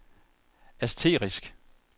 asterisk